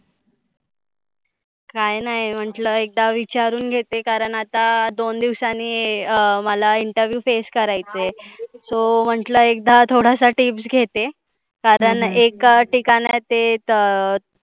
काय नाय म्हटलं एकदा विचारून घेते, कारण आता दोन दिवसांनी हे अं मला interview face करायचे. So म्हटलं एकदा थोड्याश्या tips घेते. कारण एका ठिकाणात ते त